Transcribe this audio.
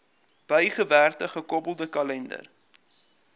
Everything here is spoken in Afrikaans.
bygewerkte gekoppelde kalender